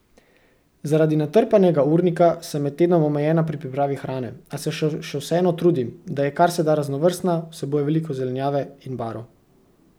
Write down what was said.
Zaradi natrpanega urnika sem med tednom omejena pri pripravi hrane, a se še vseeno trudim, da je kar se da raznovrstna, vsebuje veliko zelenjave in barv.